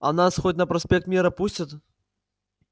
а нас хоть на проспект мира пустят